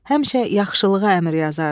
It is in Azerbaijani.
Həmişə yaxşılığa əmr yazardı.